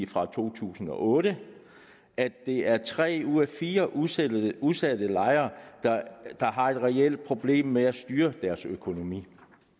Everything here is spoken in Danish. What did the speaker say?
fra to tusind og otte at det er tre ud af fire udsatte udsatte lejere der har et reelt problem med at styre deres økonomi